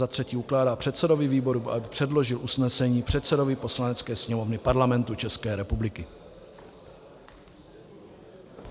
za třetí ukládá předsedovi výboru, aby předložil usnesení předsedovi Poslanecké sněmovny Parlamentu České republiky.